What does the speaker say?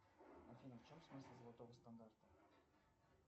афина в чем смысл золотого стандарта